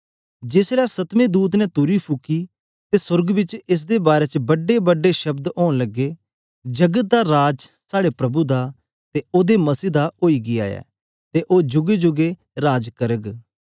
जेस ले सतमें दूत ने तुरी फुकी ते सोर्ग बिच एस दे बारै च बड्डे बड्डे शब्द औंन लगे जगत दा राज साड़े प्रभु दा ते ओदे मसीह दा ओई गीया ऐ ते ओ जूगे जूगे राज करग